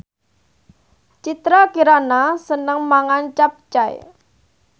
Citra Kirana seneng mangan capcay